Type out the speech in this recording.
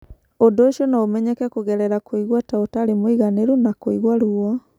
Ũndũ ũcio no ũmenyeke kũgerera kũigua ta ũtarĩ mũiganĩru na kũigua ruo.